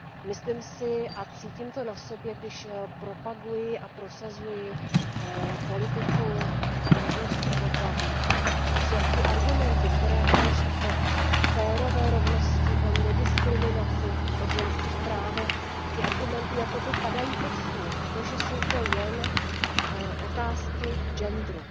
Myslím si a cítím to na sobě, když propaguji a prosazuji politiku rovnosti pohlaví, že argumenty, které hovoří o férové rovnosti, o nediskriminaci, o ženských právech, ty argumenty jakoby padají pod stůl, protože to jsou jen otázky genderu.